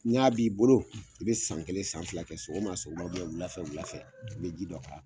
N'i a b'i bolo, , i bɛ san kelen, san fila kɛ sɔgɔma sɔgɔma wulafɛ wulafɛ, , i bɛ ji dɔ k'a